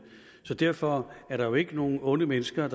derfor er der jo ikke nogen onde mennesker